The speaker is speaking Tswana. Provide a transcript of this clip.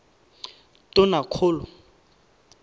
tonakgolo